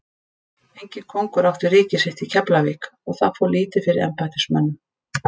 Enginn kóngur átti ríki sitt í Keflavík og það fór lítið fyrir embættismönnum.